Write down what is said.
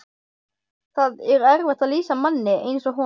Það er erfitt að lýsa manni eins og honum.